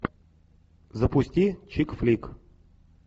запусти чикфлик